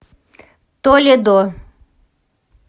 толедо